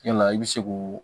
Yala i bɛ se k'o